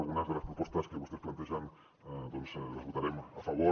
algunes de les propostes que vostès plantegen les votarem a favor